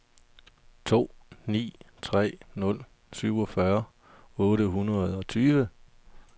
to ni tre nul syvogfyrre otte hundrede og tyve